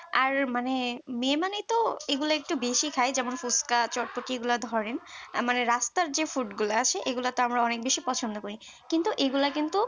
আর মানে মেয়ে মানেই তো এগুলো একটু বেশি খায় যেমন ফুচকা চটপটি এগুলা ধরেন মানে রাস্তার যে food গুলো আছে এগুলোতে আমরা অনেক বেশি পছন্দ করি কিন্তু এগুলা কিন্তু